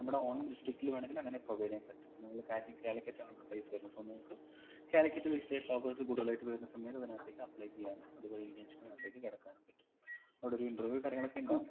നമ്മുടെ own district ൽ വേണമെങ്കിൽ അങ്ങനെ provide ചെയ്യാൻ പറ്റും ഇപ്പം നിങ്ങൾ കാലിക്കറ്റ് ആണ് place വരുന്നെ so നിങ്ങക്ക് കാലിക്കറ്റ് based ആയിട്ടുള്ള offers കൂടുതലായിട്ട് വരുന്ന സമയത്ത് അതിനകത്തെക്ക് apply ചെയ്യാനും അതുവഴി internship നകത്തേക് കടക്കാനും പറ്റും അവിടെ ഒരു interview കാര്യങ്ങളൊക്കെ ഇണ്ടാവും